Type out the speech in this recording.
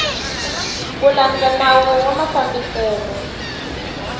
ku landza nawu wa mafambiselo